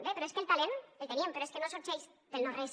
bé però és que el talent el tenim però és que no sorgeix del no res